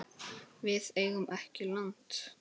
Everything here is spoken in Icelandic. Við eigum ekki land.